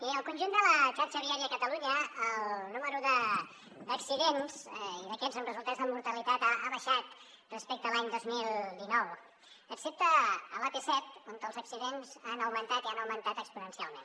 mirin al conjunt de la xarxa viària de catalunya el nombre d’accidents i d’aquests amb resultats de mortalitat ha baixat respecte a l’any dos mil dinou excepte a l’ap set on els accidents han augmentat i han augmentat exponencialment